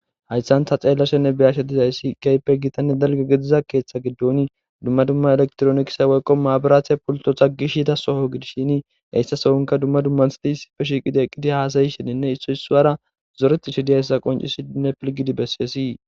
Hayissani ta beyashi dizayisi wolqamma keththa giddoni duma duma elekitironikise woyiko mabirate gishida sohho gidishini he soonikka darro assati eqidi hassayishenne issoyi isuwara zoretishe dossona.